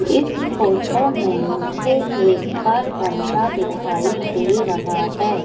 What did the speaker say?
इस फोटो में मुझे एक घर बनता दिखाई दे रहा है।